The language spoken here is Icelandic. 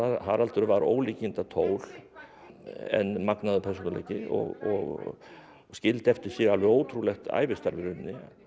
Haraldur var ólíkindatól en magnaður persónuleiki og skildi eftir sig alveg ótrúlegt ævistarf í rauninni hann